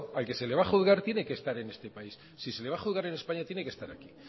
al que se le va a juzgar tiene que estar en este país si se le va a juzgar en españa tiene que estar aquí